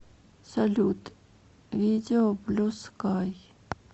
салют видео блю скай